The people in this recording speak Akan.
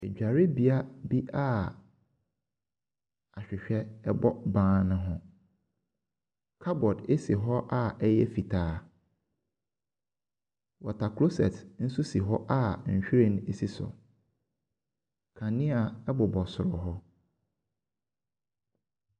Adwarebea bi a ahwehwɛ ɛbɔ ban ho. Kabɔd si hɔ a ɛyɛ fitaa. Wɔtaclosɛt nso si hɔ a nhwiren si so. Kanea ɛbobɔ soro hɔ.